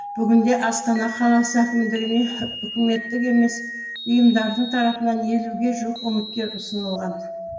бүгінде астана қаласы әкімдігіне үкіметтік емес ұйымдардың тарапынан елуге жуық үміткер ұсынылған